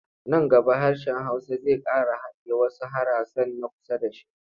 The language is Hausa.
Nan gaba hsrshen Hausa zai ƙara hadiye wasu harasan na kusa da shi.